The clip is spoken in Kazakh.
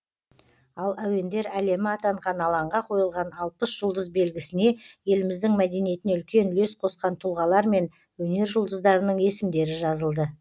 ал әуендер әлемі атанған алаңға қойылған алпыс жұлдыз белгісіне еліміздің мәдениетіне үлкен үлес қосқан тұлғалар мен өнер жұлдыздарының есімдері жазылды